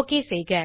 okay செய்க